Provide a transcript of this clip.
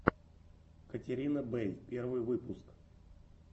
катерина бэй первый выпуск